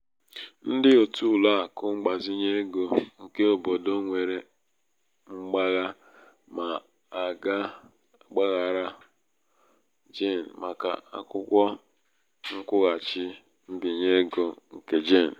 ndị òtù ụlọ akụ mgbazinye ego nke obodo nwere mgbagha ma aga-agbaghara jane màkà akwụkwo nkwụghachi mbinye ego nke jane